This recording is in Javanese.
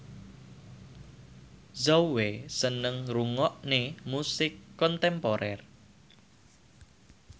Zhao Wei seneng ngrungokne musik kontemporer